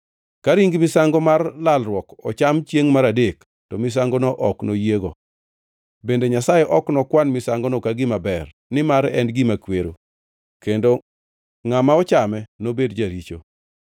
Ka ring misango mar lalruok ocham chiengʼ mar adek, to misangono ok noyiego. Bende Nyasaye ok nokwan misangono ka gima ber, nimar en gima kwero, kendo ngʼama ochame nobed jaricho.